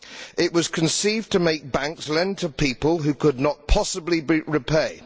It was conceived to make banks lend to people who could not possibly repay.